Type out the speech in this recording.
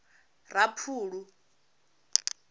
raphulu